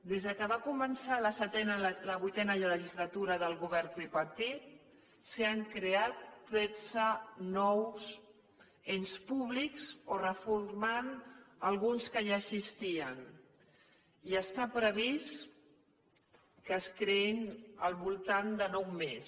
des que va començar la vuitena legislatura del govern tripartit s’han creat tretze nous ens públics o reformat alguns que ja existien i està previst que se’n creïn al voltant de nou més